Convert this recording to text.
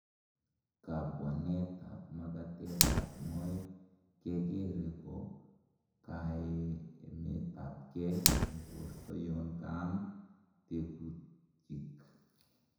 Kabwanetab magatetab moet kekere ko kaiemetapkei en borto yon kaam tekutkyik.